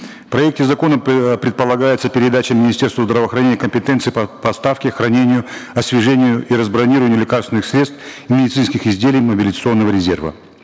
в проекте закона э предполагается передача министерству здравоохранения компетенции по поставке хранению освежению и разбронированию лекарственных средств и медицинских изделий мобилизационного резерва